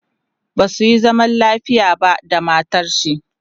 basuyi zaman lafiya ba da matarshi